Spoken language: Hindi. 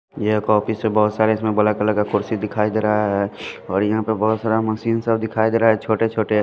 ये एक ऑफिस है बहुत सारे इसमें बल कलर का कुर्सी दिखाई दे रहा है और यहां पे बहुत सारा मशीन सब दिखाई दे रहा है छोटे छोटे।--